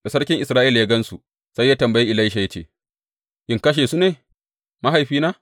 Da sarkin Isra’ila ya gan su, sai ya tambayi Elisha ya ce, In kashe su ne, mahaifina?